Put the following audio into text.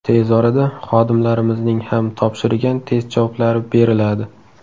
Tez orada xodimlarimizning ham topshirgan test javoblari beriladi.